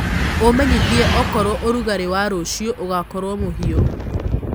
umenyĩthĩe okorwo ũrũgarĩ wa rũcĩũ ugakorwo muhiu